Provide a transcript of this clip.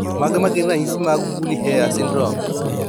Mage magin ranyisi mag Woolly hair syndrome